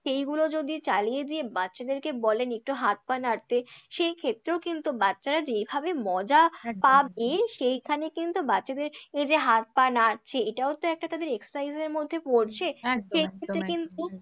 এইগুলো যদি চালিয়ে দিয়ে বাচ্চাদেরকে বলেন একটু হাত পা নাড়তে সেক্ষেত্রেও কিন্তু বাচ্চারা যেইভাবে মজা পাবে, সেইখানে কিন্তু বাচ্চাদের এই যে হাত পা নাড়াছে এটাও তো একটা তাদের exercise এর মধ্যে পড়ছে, একদম একদম সেক্ষেত্রে কিন্তু